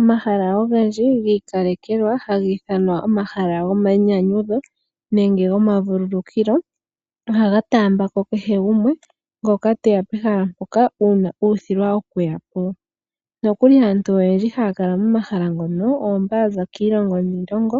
Omahala ogendji gi ikalekelwa haga ithanwa omahala gomainyanyudho nenge gomavululukilo ohaga taamba ko kehe gumwe ngoka te ya pehala mpoka uuna uuthilwa okuya po. Nokuli aantu oyendji haya kala momahala mono oyo mboka ya za kiilongo niilongo